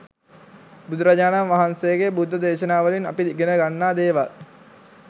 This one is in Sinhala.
බුදුරජාණන් වහන්සේගේ බුද්ධ දේශනාවලින් අපි ඉගෙනගන්න දේවල්